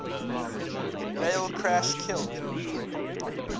rail crash killed